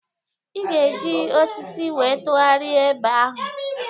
Ị ga-eji osisi wee tụgharịa eba ahụ